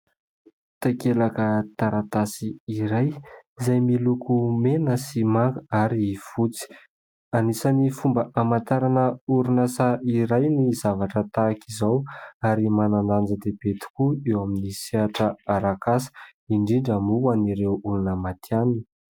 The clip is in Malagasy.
Takelaka taratasy iray izay miloko mena sy manga ary fotsy. Anisan'ny fomba amantarana orinasa iray ny zavatra tahaka izao ary manan-danja-dehibe tokoa eo amin'ny sehatra arak'asa, indrindra moa ho an'ireo olona maty hanina.